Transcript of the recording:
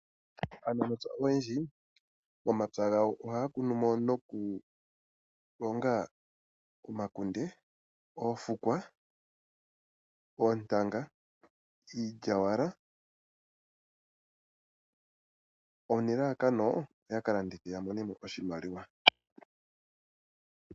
Aanangeshefa oyendji momapya gawo ohaya kunumo nokulonga omaakunde, oofukwa, oontanga, iilyawala nelalakano yakalandithe yamonemo oshimaliwa.